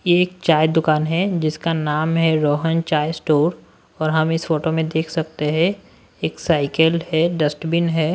ये एक चाय दुकान है जिसका नाम हैरोहन चाय स्टोर और हम इस फोटो में देख सकते हैं एक साइकिल है डस्टबिन है।